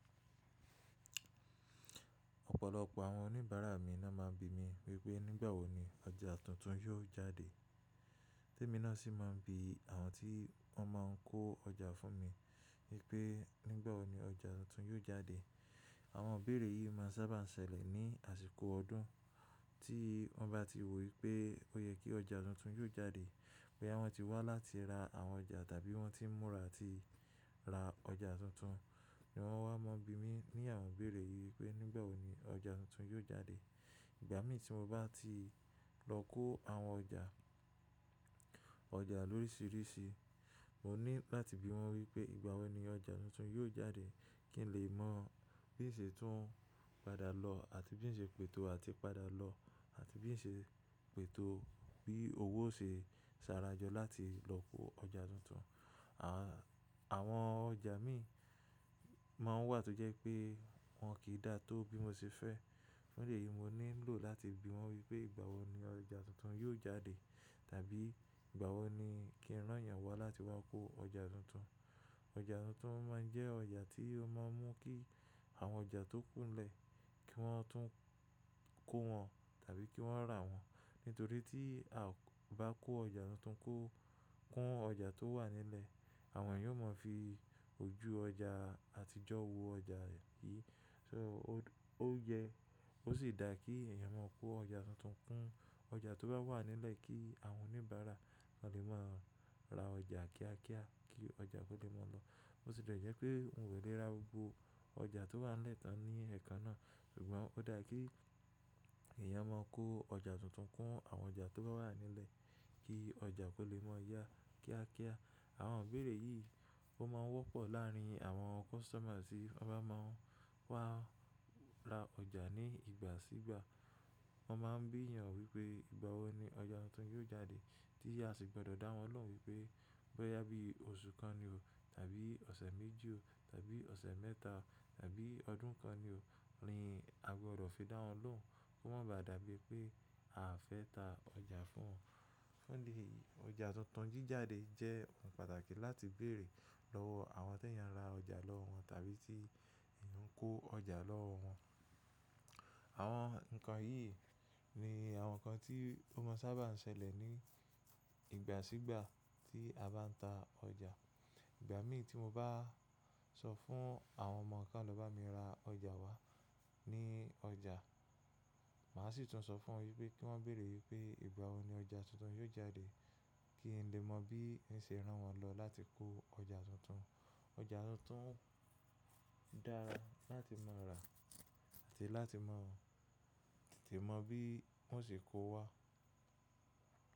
Ọ̀pọ̀lọpọ̀ àwọn oníbàárà mi náà ma ń bi mí wípé nígbà wo ni ọjà tuntun yóò jáde. Temi náà sì ma ń bi àwọn tí wọ́n máa ń kó ọjà fún mi wípé nígbà wo ni ọjà tuntun yóò jáde. Àwọn òbére yìí ma sábà ń ṣẹlẹ̀ ní àsìkò ọdún tí wọ́n bá ti wò wípé ó yẹ kí ọjà tuntun yóò jáde. Bóyá wọ́n ti wá láti ra àwọn ọjà tàbí wọ́n ti ń múra àti ra ọjà tuntun ni wọ́n máa ń wá bí mi ní àwọn òbére yìí wípé nígbà wo ni ọjà tuntun yóò jáde. Ìgbà mìíràn tí mo bá ti lọ kó àwọn ọjà, ọjà lórísìírísi, mo ní láti bi wọ́n wípé ìgbà wo ni ọjà tuntun yóò jáde kí n lè mọ bí ń ṣe tún padà lọ àti bí ń ṣe pètò àti padà lọ àti bí ń ṣe pètò bí owó ṣe sára jọ láti lọ kó ọjà tuntun. Àwọn ọjà mi máa ń wà tó jẹ́ pé wọn kì í dà tó bí mo ṣe fẹ́. Nílé yìí mo ní lò láti bi wọ́n wípé ìgbà wo ni ọjà tuntun yóò jáde tàbí ìgbà wo ni kí n rán èèyàn wá láti wá kó ọjà tuntun. Ọjà tuntun máa ń jẹ́ ọjà tí ó máa ń mú kí àwọn ọjà tó kúnlẹ̀ kí wọ́n tún kó wọn tàbí kí wọ́n rà wọ́n. Nítorí tí a bá kó ọjà tuntun kún ọjà tó wà nílẹ̀, àwọn eeyan ó mọ̀ fi ojú ọjà àtijọ́ wo ọjà yìí. So ó jẹ́ ó sì dà kí èèyàn máa kó ọjà tuntun kún ọjà tó bá wà nílẹ̀ kí àwọn oníbàárà wọn lè máa ra ọjà kíákíá kí ọjà kó lè mọ́ lọ. Ó sì jẹ́ pé n ò lè ra gbogbo ọjà tó wà nílẹ̀ tán ní ẹ̀ẹ̀kan náà, ṣùgbọ́n ó dà kí èèyàn máa kó ọjà tuntun kún àwọn ọjà tó bá wà nílẹ̀ kí ọjà kó lè mọ́ yá kíákíá. Àwọn ìbére yìí ó máa ń wọ́pọ̀ láàárín àwọn customer tí wọ́n bá máa ń wá ra ọjà ní ìgbà sígbà. Wọ́n máa ń bi eeyàn wípé ìgbà wo ni ọjà tuntun yóò jáde tí a sì gbọ́dọ̀ dáwọn lóhùn wípé bóyá bí oṣù kan ni o tàbí ọ̀sẹ̀ méjì o tàbí ọ̀sẹ̀ mẹ́ta o tàbí ọdún kan ni o, rí a gbọ́dọ̀ fi dáwọn lóhùn kó má ba dàbí pé a ò fẹ́ ta ọjà fún wọn. Nílé yìí ọjà tuntun jíjáde jẹ́ ohun pàtàkì láti béèrè lọ́wọ́ àwọn tí èèyàn ra ọjà lọ́wọ́ wọn tàbí tí èèyàn ń kó ọjà lọ́wọ́ wọn. Àwọn nǹkan yìí ni àwọn nǹkan tí ó máa ń sábà ń ṣẹlẹ̀ ní ìgbà sígbà tí a bá ń ta ọjà. Ìgbà mìí tí mo bá sọ fún àwọn ọmọ kan lọ bá mi ra ọjà wá ní ọjà, mà á sì tún sọ fún wọn wípé kí wọ́n béèrè wípé ìgbà wo ni ọjà tuntun yóò jáde kí n lè mọ bí ń ṣe rán wọn lọ láti kó ọjà tuntun. Ọjà tuntun dára láti máa rà àti láti mọ̀, tete mọ̀ bí wọ́n ṣe kó wá.